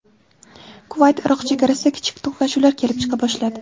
Kuvayt–Iroq chegarasida kichik to‘qnashuvlar kelib chiqa boshladi.